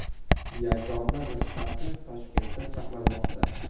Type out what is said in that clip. Yagona nusxasi Toshkentda saqlanmoqda.